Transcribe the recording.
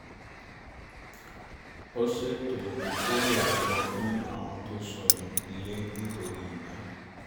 ó ṣètò ìkórè aṣọ fún àwọn tó sọnù ilé nítorí iná